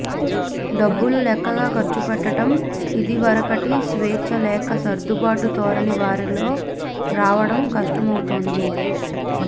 డబ్బులు లెక్కగా ఖర్చుపెట్టటం ఇదివరకటి స్వేచ్ఛ లేక సర్దుబాటు ధోరణి వారిలో రావడం కష్టమవుతోంది